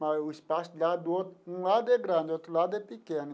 Mas o espaço lá do outro de um lado é grande, do outro lado é pequeno.